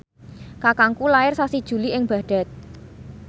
kakangku lair sasi Juli ing Baghdad